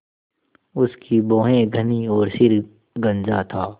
उसकी भौहें घनी और सिर गंजा था